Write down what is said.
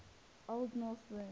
old norse word